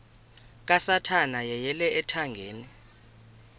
kasathana yeyele ethangeni